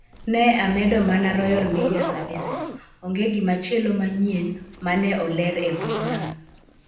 Ne amedo mana Royal Media Services. Onge gimachielo manyien ma ne oler e bugno